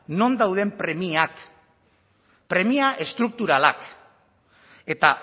non dauden premiak premia estrukturalak eta